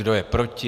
Kdo je proti?